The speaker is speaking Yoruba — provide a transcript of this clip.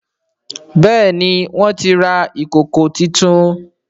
Béèni wón tí rà Ìkòkò títún.